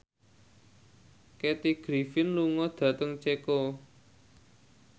Kathy Griffin lunga dhateng Ceko